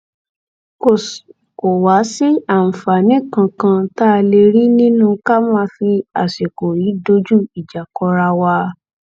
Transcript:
kò wáá sí àǹfààní kankan tá a lè rí nínú ká máa fi àsìkò yìí dojú ìjà kọra wa